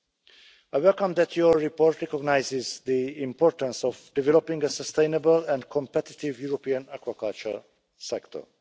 I welcome the fact that your report recognises the importance of developing a sustainable and competitive European aquaculture sector.